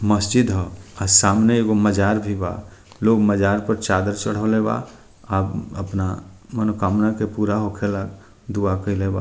मस्जिद ह अ सामने एगो मजार भी बा लोग मजार पर चादर चढ़वाले बा अ अपना मनोकामना के पूरा होके ला दुआ कइले बा।